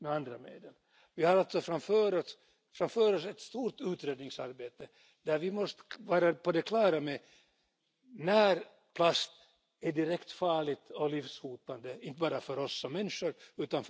Mr President, I support efforts to reduce the amount of plastic being used because, for the foreseeable future, a lot of it will end up in the open environment, including the oceans, from which it cannot realistically be collected for recycling or anything else.